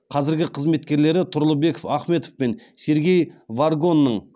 қазіргі қызметкерлері тұрлыбек ахметов пен сергей варгонның